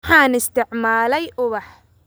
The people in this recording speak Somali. Waxaan isticmaalay ubax